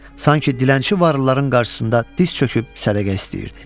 Sanki dilənçi varlıların qarşısında diz çöküb sədəqə istəyirdi.